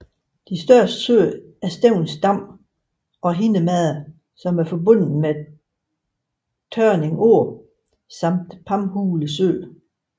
Største søer er Stevning Dam og Hindemade der er forbundet med Tørning Å samt Pamhule Sø